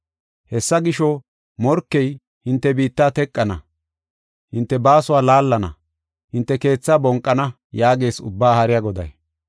Hessa gisho, “Morkey hinte biitta teqana; hinte baasuwa laallana; hinte keethaa bonqana” yaagees Ubbaa Haariya Goday.